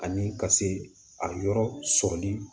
Ani ka se a yɔrɔ sɔrɔli